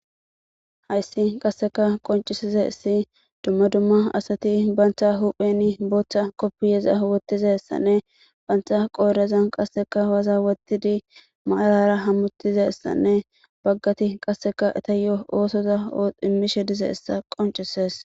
Hayssi qasseka qoncisize issi dumma dumma asati bantha hupheni booththa koppiyeza wottize essanne bantha qooreza qasseka waza wottidi maalara hammutize essanne baggati qasseka eta yo oosoza immishe dize issa qoncises.